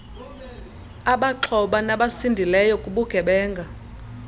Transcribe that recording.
abaxhoba nabasindileyo kubugebenga